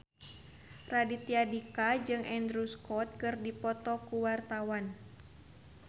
Raditya Dika jeung Andrew Scott keur dipoto ku wartawan